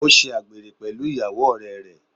Ó ṣe àgbèrè pẹ̀lú ìyàwó ọ̀rẹ́ rẹ̀.